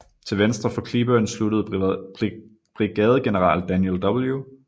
Til venstre for Cleburne sluttede brigadegeneral Daniel W